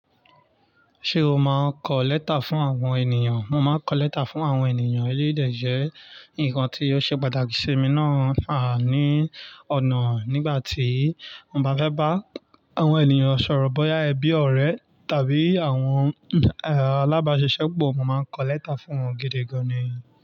Ṣé o máa ń kọ lẹ́tà fún àwọn ènìyàn? Mo máa ń kọ lẹ́tà fún àwọn ènìyàn elédè yii de je ǹkan tí o ṣe pàtàkì sí mi náà há ní ọ̀nà nígbà tí mo bá fẹ́ bá àwọn ènìyàn sọ̀rọ̀ bóyá ẹbí, ọ̀rẹ́ tàbí àwọn, alábáṣiṣẹ́pọ̀, mo máa ń kọ lẹ́tà fún wọn gidi gan ni.